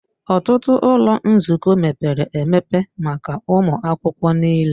Ọtụtụ ụlọ nzukọ mepere emepe maka ụmụ akwụkwọ niile